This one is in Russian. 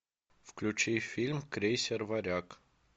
включи фильм крейсер варяг